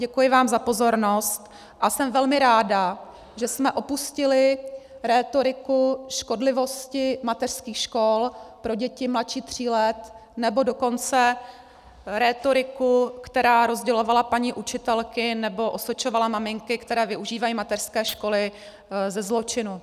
Děkuji vám za pozornost a jsem velmi ráda, že jsme opustili rétoriku škodlivosti mateřských škol pro děti mladší tří let, nebo dokonce rétoriku, která rozdělovala paní učitelky nebo osočovala maminky, které využívají mateřské školy, ze zločinu.